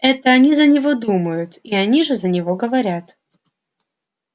это они за него думают и они же за него говорят